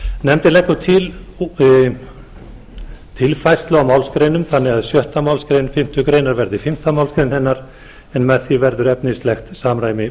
nefndin leggur til tilfærslu á málsgreinum þannig að sjöttu málsgrein fimmtu grein verði fimmtu málsgrein hennar en með því verður efnislegt samræmi